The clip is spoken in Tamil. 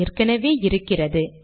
ஏற்கெனெவே இருக்கிறது